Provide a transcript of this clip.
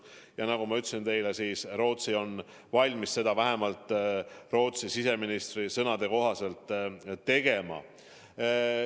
Ja nagu ma ütlesin teile, Rootsi on valmis seda vähemalt siseministri sõnul tegema.